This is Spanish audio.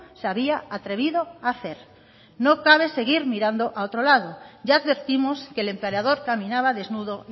se había atrevido a hacer no cabe seguir mirando a otro lado ya advertimos que el emperador caminaba desnudo